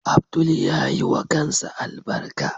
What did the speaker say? Abdul yayiwa kansa albarka.